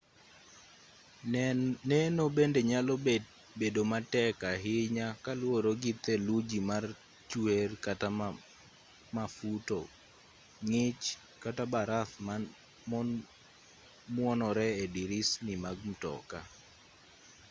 neno bende nyalo bedo matek ahinya kaluwore gi theluji ma chuer kata mafuto ng'ich kata baraf ma muonore e dirisni mag mtoka